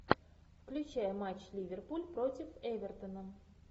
включай матч ливерпуль против эвертона